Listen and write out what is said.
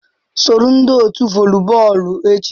Soro ndị otu voli bọọlụ echi.